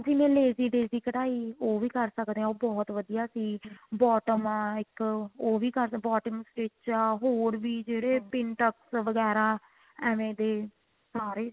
ਹਾਂਜੀ ਮੈਂ lazy daisy ਕਢਾਈ ਉਹ ਵੀ ਕਰ ਸਕਦੇ ਹਾਂ ਉਹ ਬਹੁਤ ਵਧੀਆ ਚੀਜ਼ bottom ਇੱਕ ਉਹ ਵੀ ਕਰ bottom stich ਹੋਰ ਵੀ ਜਿਹੜੇ pintex ਵਗੈਰਾ ਐਵੇਂ ਦੇ ਸਾਰੇ